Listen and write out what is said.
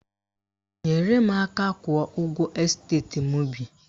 Nyere m aka kwụọ ụgwọ esteti m bi